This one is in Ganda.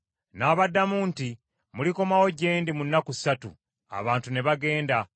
N’abaddamu nti, “Mulikomawo gye ndi mu nnaku ssatu.” Abantu ne bagenda.